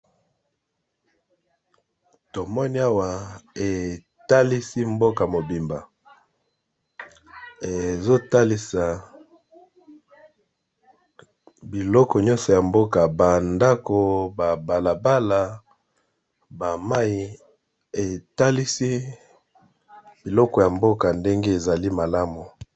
Tomoni awa etalisi mboka mobimba ezo talisa biloko nyonso ya mboka ba ndako ba bala bala ba mayi etalisi biloko ya mboka ndenge ezali malamu.